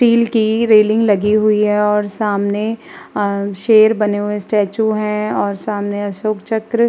Steel की railing लगी हुई है। सामने शेर बने हुए स्टैचू है और सामने अशोक चक्र--